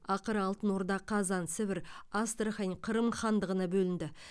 ақыры алтын орда қазан сібір астрахань қырым хандығына бөлінді